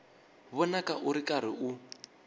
vonaka u ri karhi u